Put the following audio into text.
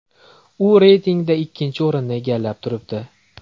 U reytingda ikkinchi o‘rinni egallab turibdi.